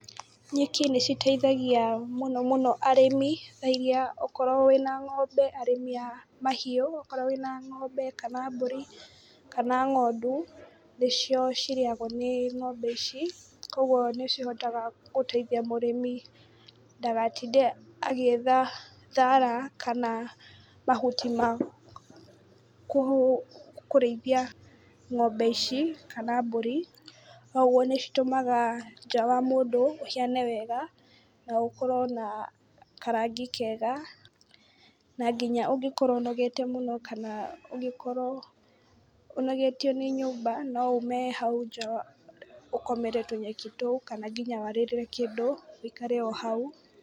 Nyeki nĩ citeithagia mũno mũno arĩmi, thaa iria okorwo wĩna ng'ombe arĩmi a mahiũ, okorwo wĩna ng'ombe kana mbũri kana ng'ondu, nĩcio cirĩagwo nĩ ng'ombe ici, koguo nĩ cihotaga gũteithia mũrĩmi ndagatinde agĩetha thara kana mahuti ma kũrĩithia ng'ombe ici kana mbũri. Noguo nĩ citũmaga nja wa mũndũ ũhiane wega, na gũkorwo na karangi kega. Na nginya ũngĩkorwo ũnogete mũno kana ungĩkorwo ũnogetio nĩ nyũmba no ume hau nja ũkomere tũnyeki tũu, kana nginya warĩrĩre kĩndũ ũikare o hau.